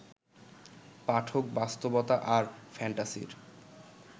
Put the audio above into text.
পাঠক বাস্তবতা আর ফ্যান্টাসির